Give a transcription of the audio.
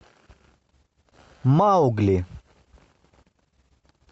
маугли